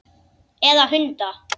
Eða hunda?